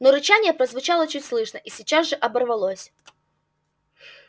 но рычание прозвучало чуть слышно и сейчас же оборвалось